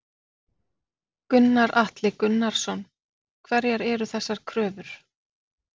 Gunnar Atli Gunnarsson: Hverjar eru þessar kröfur?